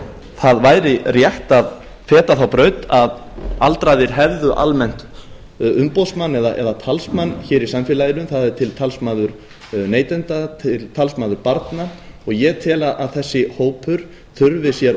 það væri rétt að feta þá braut að aldraðir hefðu almennt umboðsmann eða talsmann hér í samfélaginu það er til talsmaður neytenda og talsmaður barna og ég tel að þessi hópur þurfi sér